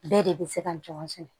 Bɛɛ de bɛ se ka ɲɔgɔn sɛnɛ